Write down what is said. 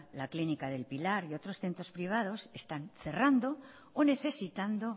la clínica del pilar y otros centros privados están cerrando o necesitando